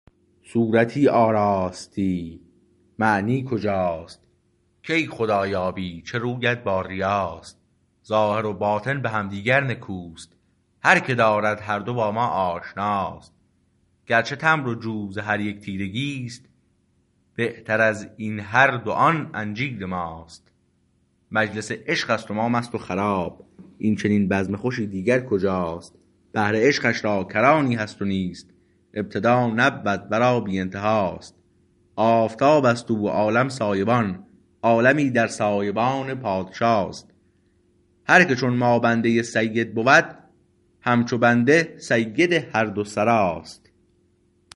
صورتی آراستی معنی کجاست کی خدا یابی چه رویت با ریاست ظاهر و باطن به همدیگر نکوست هر که دارد هر دو با ما آشناست گرچه تمر و جو ز هر یک تیرگیست بهتر از این هر دو آن انجیر ماست مجلس عشقست و ما مست و خراب این چنین بزم خوشی دیگر کجاست بحر عشقش را کرانی هست نیست ابتدا نبود ورا بی انتهاست آفتابست او و عالم سایه بان عالمی در سایه بان پادشاست هر که چون ما بنده سید بود هم چو بنده سید هر دو سراست